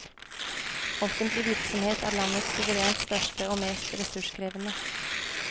Offentlig virksomhet er landets suverent største og mest ressurskrevende.